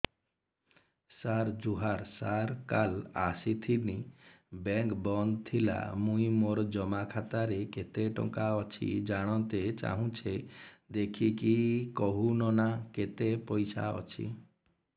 ସାର ଜୁହାର ସାର କାଲ ଆସିଥିନି ବେଙ୍କ ବନ୍ଦ ଥିଲା ମୁଇଁ ମୋର ଜମା ଖାତାରେ କେତେ ଟଙ୍କା ଅଛି ଜାଣତେ ଚାହୁଁଛେ ଦେଖିକି କହୁନ ନା କେତ ପଇସା ଅଛି